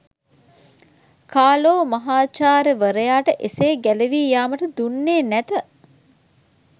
කාලෝ මහාචාර්ය වරයාට එසේ ගැලවී යාමට දුන්නේ නැත